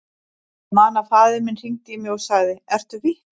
Ég man að faðir minn hringdi í mig og sagði, ertu vitlaus?